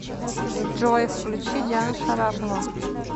джой включи диана шарапова